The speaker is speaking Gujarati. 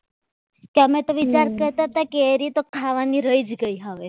તમે તો વિચાર કરતા હતા ને કે કેરી તો ખાવાની રહી જ ગઈ હવે